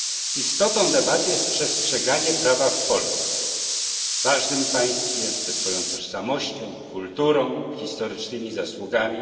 Istotą debaty jest przestrzeganie prawa w Polsce, ważnym państwie ze swoją tożsamością, kulturą, historycznymi zasługami.